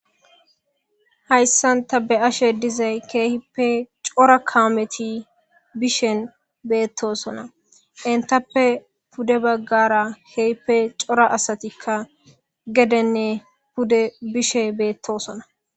Hayssan ta be ashe dizay keehippe cora kaameti bishen beettosona entappe pude baggara heehippe cora asatikka gedenne pude bishe beettosona.